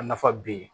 A nafa be yen